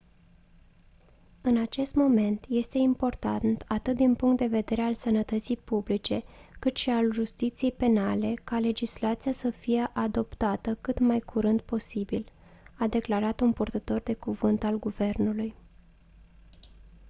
în acest moment este important atât din punct de vedere al sănătății publice cât și al justiției penale ca legislația să fie adoptată cât mai curând posibil a declarat un purtător de cuvânt al guvernului